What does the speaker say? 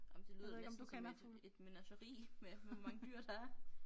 Ej men det lyder da næsten som et et menageri med hvor mange dyr der er